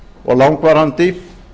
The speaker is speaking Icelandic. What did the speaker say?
og langvarandi